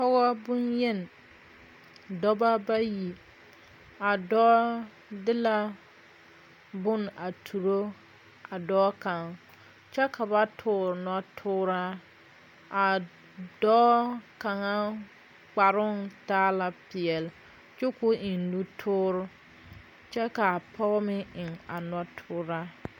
Pɔgɔ bonyeni, dɔɔbɔ bayi. A dɔɔ de la bon a turo a dɔɔ kang. Kyɛ ka ba toore notooraa. A dɔɔ kanga kparoŋ taa la piɛle kyɛ k'o eŋ nutooro. Kyɛ ka a pɔgɔ meŋ eŋ a notooraa